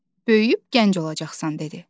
Böyüyüb gənc olacaqsan" dedi.